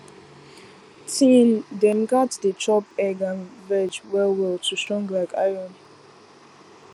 teen dem gats dey chop egg and veg well well to strong like iron